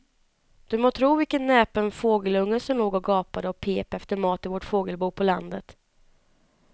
Du må tro vilken näpen fågelunge som låg och gapade och pep efter mat i vårt fågelbo på landet.